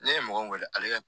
Ne ye mɔgɔ min wele ale ka